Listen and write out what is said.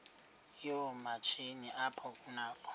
yoomatshini apho kunakho